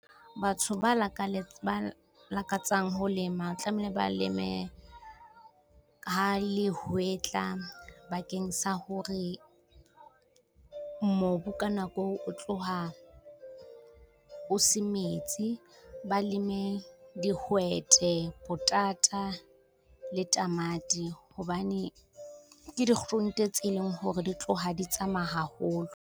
Batho ba lakaletsa lakatsang ho lema tlamehile ba leme ka le hwetla bakeng sa hore mobu ka nako eo o tloha o se metsi. Ba leme dihwete, potata le tamati hobane ke dikgurunte tse leng hore di tloha di tsamaya haholo.